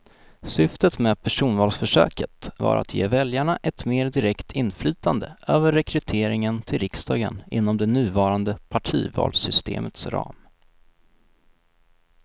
Syftet med personvalsförsöket var att ge väljarna ett mer direkt inflytande över rekryteringen till riksdagen inom det nuvarande partivalssystemets ram.